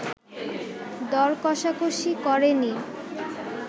দর কষাকষি করেনি